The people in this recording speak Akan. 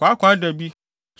kwaakwaadabi,